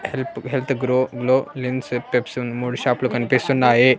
Help health grow glow మూడు షాప్లు కనిపిస్తున్నాయి.